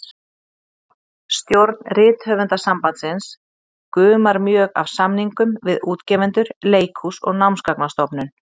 Stjórn Rithöfundasambandsins gumar mjög af samningum við útgefendur, leikhús og Námsgagnastofnun.